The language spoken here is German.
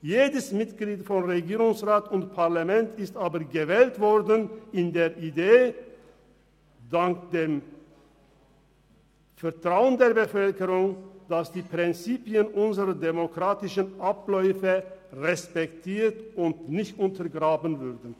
Jedes Mitglied von Regierungsrat und Parlament ist aber mit der Idee und dank dem Vertrauen der Bevölkerung gewählt worden, dass die Prinzipien unserer demokratischen Abläufe respektiert und nicht untergraben werden.